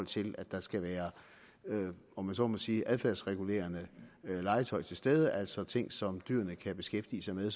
til at der skal være om man så må sige adfærdsregulerende legetøj til stede altså ting som dyrene kan beskæftige sig med